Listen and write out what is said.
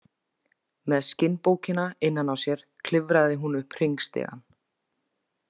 Með skinnbókina innan á sér klifraði hún upp hringstigann.